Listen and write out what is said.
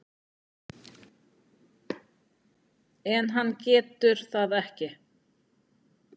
En hann getur það ekki.